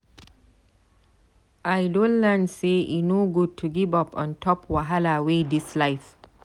I don learn sey e no good to give up on top wahala wey dis life.